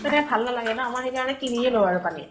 তেতিয়া ভাল নালাগে না আমাৰ। সেই কাৰণে কিনিয়ে লওঁ আৰু পানী।